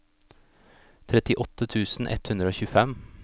trettiåtte tusen ett hundre og tjuefem